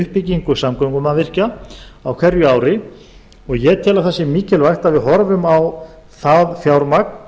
uppbyggingu samgöngumannvirkja á hverju ári og ég tel að það sé mikilvægt að við horfum á það fjármagn